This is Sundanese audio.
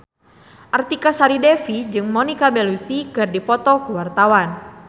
Artika Sari Devi jeung Monica Belluci keur dipoto ku wartawan